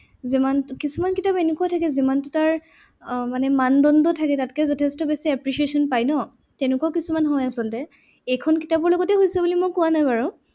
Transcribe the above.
যিমান কিছুমান কিতাপ এনেকুৱা থাকে যিমান তাৰ আহ মানদণ্ড থাকে তাতকে যথেষ্ট বেছি appreciation পাই ন তেনেকুৱা কিছুমান হয় আচলতে। এইখন কিতাপৰ লগত হৈছে বুলি কোৱা নাই বাৰু।